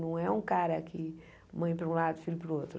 Não é um cara que mãe para um lado, filho para o outro.